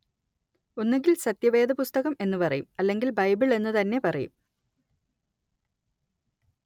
ഒന്നുകില്‍ സത്യവേദപുസ്തകം എന്നു പറയും അല്ലെങ്കില്‍ ബൈബിള്‍ എന്നു തന്നെ പറയും